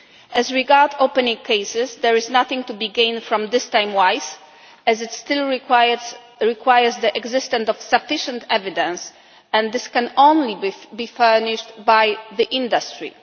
As regards opening cases, there is nothing to be gained from this time wise, as it still requires the existence of sufficient evidence, and this can only be furnished by the industry.